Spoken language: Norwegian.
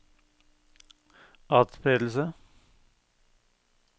atspredelse